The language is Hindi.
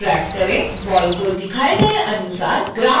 बॉल को दिखाए गए अनुसार ग्राउंड से थोड़ा ऊपर ले जाएं